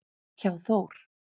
hjá Þór.